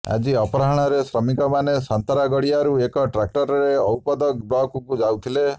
ଆଜି ଅପରାହ୍ନରେ ଶ୍ରମିକମାନେ ସନ୍ତରାଗଡ଼ିଆରୁ ଏକ ଟ୍ରାକ୍ଟରରେ ଔପଦ ବ୍ଲକକୁ ଯାଉଥିଲେ